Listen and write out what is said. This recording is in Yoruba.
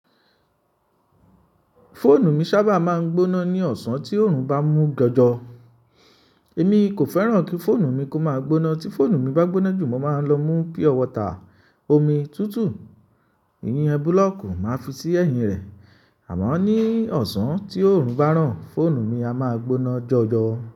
Fóònù mi sábà máa ń gbóná ní ọ̀sán tí oòrùn bá mú jọjọ. Èmi kò fẹ́ràn kí fóònù mi kó máa gbóná. Tí fóònù mi bá gbóná jù, mo máa ń lọ mú pure water, omi tútù, iyẹn búlọ̀kù máa fi sí ẹ̀yìn rẹ̀. Àmọ ní ọ̀sán tí oòrùn bá n ràn, fóònù mi a máa gbóná jọjọ.